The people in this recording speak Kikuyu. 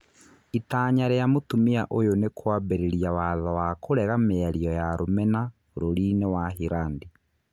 Itanya rĩa mũtumia ũyũ nĩ kĩambĩrĩria watho wa kũrega mĩario ya rũmena bũrũri-inĩ wa Hirandi.